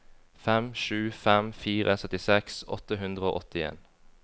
fem sju fem fire syttiseks åtte hundre og åttien